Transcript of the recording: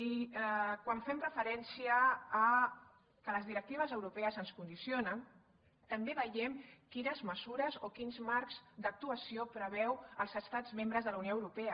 i quan fem referència que les directives europees ens condicionen també veiem quines mesures o quins marcs d’actuació preveuen els estats membres de la unió europea